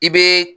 I bɛ